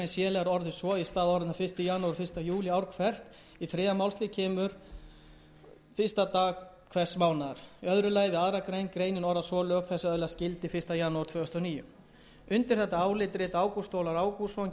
hvert í þriðja málsl kemur fyrsta dag hvers mánaðar annars við aðra grein greinin orðist svo lög þessi öðlast gildi fyrsta janúar tvö þúsund og níu undir þetta álit rita háttvirtir þingmenn ágúst ólafur ágústsson guðfinna s